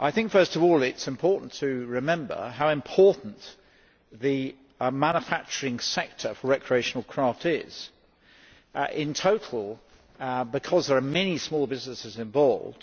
First of all, I think it is important to remember how important the manufacturing sector for recreational craft is in total, because there are many small businesses involved.